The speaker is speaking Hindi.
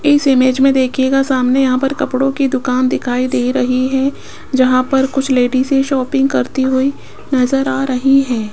इस इमेज में देखिएगा सामने यहां पर कपड़ों की दुकान दिखाई दे रही है जहां पर कुछ लेडिसे शॉपिंग करती हुई नजर आ रही है।